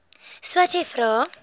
swathe vra